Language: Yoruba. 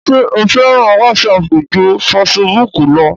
ṣé o fẹ́ràn wásapù ju fesibúkù lọ?